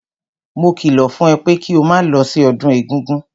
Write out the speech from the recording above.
Mo kìlọ̀ fún ẹ pé kí o máa lọ sí ọdún egúngún!